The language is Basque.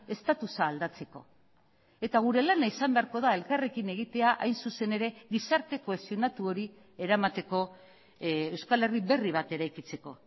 estatusa aldatzeko eta gure lana izan beharko da elkarrekin egitea hain zuzen ere gizarte kohesionatu hori eramateko euskal herri berri bat eraikitzeko